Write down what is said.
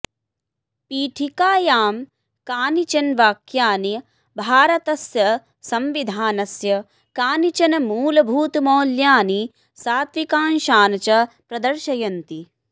पीठिकायां कानिचन वाक्यानि भारतस्य संविधानस्य कानिचन मूलभूतमौल्यानि सात्विकांशान् च प्रदर्शयन्ति